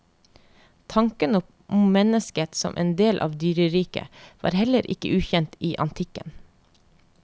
Tanken om mennesket som en del av dyreriket var heller ikke ukjent i antikken.